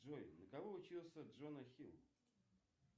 джой на кого учился джона хилл